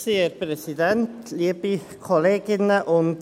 Kommissionssprecher der JuKo.